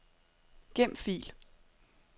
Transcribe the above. Gem fil.